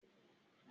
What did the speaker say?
Njẹ ọgbà ìgbafé re?